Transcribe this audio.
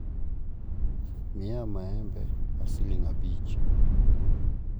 miya maembe mar siling' abich